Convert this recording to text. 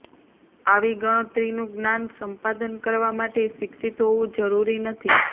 આવી ગણતરીનું જ્ઞાન સંપાદન કરવા માટે શિક્ષિત હોવું જરૂરી નથી